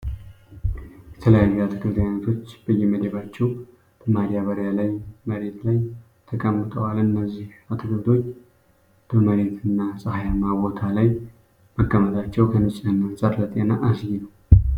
የተለያዩ የአትክልት አይነቶች በየመደባቸው በማዳበሪያ ላይ መሬት ላይ ተቀምጠዋል። እነዚህ አትክልቶች በመሬት እና ጸሃያማ ቦታ ላይ መቀመጣቸው ከንጽህና አንጻር ለጤና አስጊ ነው።